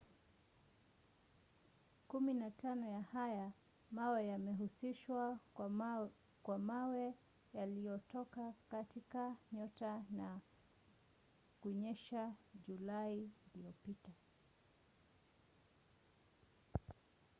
kumi na tano ya haya mawe yamehusishwa kwa mawe yaliyotoka katika nyota na kunyesha julai iliyopita